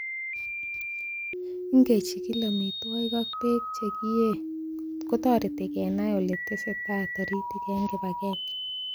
Ingechigil amitwogik ak beek che kiyee kotoreti kenai ele testo tai taritik en kibagenge.